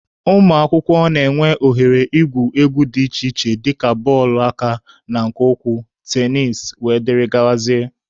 Ụmụakwụkwọ na-enwe oghere igwu egwu dị iche iche dịka bọọlụ aka na nke ụkwụ, tenisi wdg.